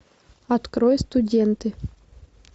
открой студенты